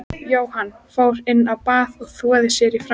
Jóhann fór inn á bað og þvoði sér í framan.